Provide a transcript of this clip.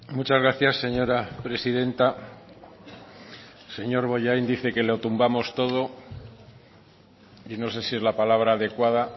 muchas gracias señora presidenta señor bollain dice que lo tumbamos todo y no sé si es la palabra adecuada